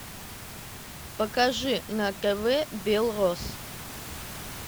покажи на тв белрос